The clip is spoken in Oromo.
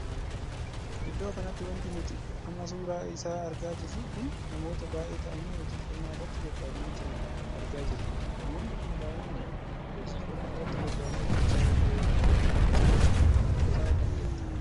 Iddoo kanatti wanti nuti amma suuraa isaa argaa jirru kun namoota baay'ee taa'anii hojii qonnaa irratti bobbaa'anii jiran argaa jirra. namoonni kun baay'inaan hojii qonnaa irratti bobbaa'anii hojjechaa ykn qotiyyoodhan qotaa kan jiranidha.